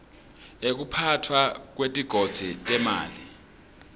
ekuphatfwa kwetigodzi temanti